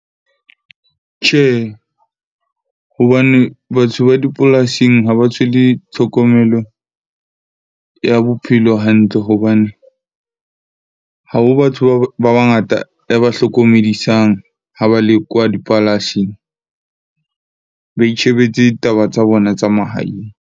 Tjhe, hobane batho ba dipolasing ha ba tshwele tlhokomelo ya bophelo hantle. Hobane ha ho batho ba bangata e ba hlokomedisang, ha ba lekwa dipalasing. Ba itjhebetse taba tsa bona tsa mahaeng.